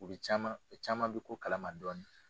U bi caman u caman bɛ ko kalama dɔɔnin.